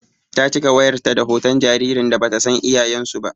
Ta cika wayar ta da hoton jaririn da batan san iyayen su ba.